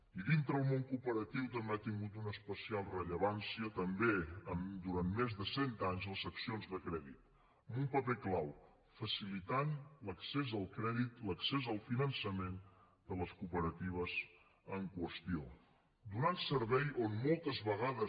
i dintre el món cooperatiu també han tingut una especial rellevància durant més de cent anys les seccions de crèdit amb un paper clau facilitar l’accés al crèdit l’accés al finançament de les cooperatives en qüestió donar servei on moltes vegades